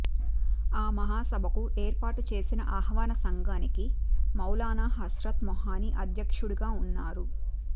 ఆ మహాసభకు ఏర్పాటు చేసిన ఆహ్వాన సంఘానికి మౌలానా హస్రత్ మొహాని అధ్యక్షుడుగా ఉన్నారు